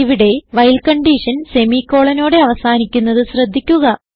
ഇവിടെ while condition semicolonനോടെ അവസാനിക്കുന്നത് ശ്രദ്ധിക്കുക